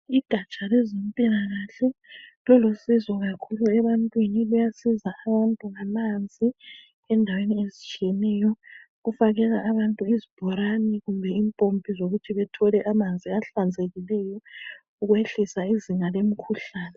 Igaja lezempilakahle lilusizo kakhulu ebantwini. Luyasiza abantu ngamanzi endaweni ezitshiyeneyo, ukufakela abantu izibhorane kumbe impompi zokuthi bethole amanzi ahlanzekileyo ukwehlisa izinga lemikhuhlane.